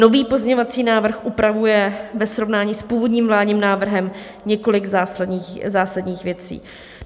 Nový pozměňovací návrh upravuje ve srovnání s původním vládním návrhem několik zásadních věcí.